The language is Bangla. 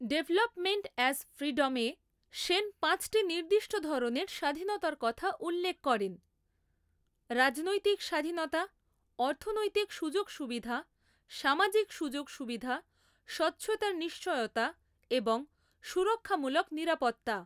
‘ডেভেলপমেন্ট অ্যাজ ফ্রিডম’এ সেন পাঁচটি নির্দিষ্ট ধরনের স্বাধীনতার কথা উল্লেখ করেন, রাজনৈতিক স্বাধীনতা, অর্থনৈতিক সুযোগ সুবিধা, সামাজিক সুযোগ সুবিধা, স্বচ্ছতার নিশ্চয়তা এবং সুরক্ষামূলক নিরাপত্তা।